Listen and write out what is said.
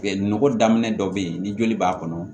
Nɔgɔ daminɛ dɔ bɛ yen ni joli b'a kɔnɔ